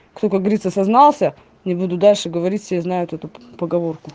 кто как говорится сознался не буду дальше говорить все знают эту поговорку